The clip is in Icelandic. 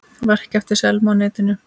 Verk eftir Selmu á netinu